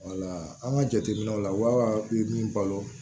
an ka jateminɛw la wa bɛ min balo